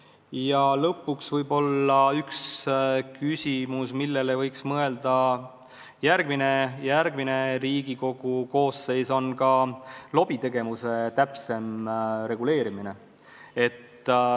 Ja lõpuks võib-olla üks küsimus, millele võiks mõelda järgmine Riigikogu koosseis: see on lobitegevuse täpsem reguleerimine.